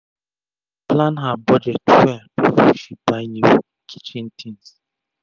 she plan her budget well before she buy new kitchen tins